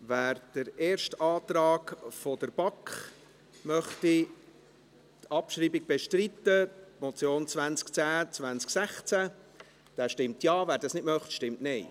Wer gemäss dem ersten Antrag der BaK die Abschreibung der Motion 210-2016 bestreiten möchte, stimmt Ja, wer dies nicht möchte, stimmt Nein.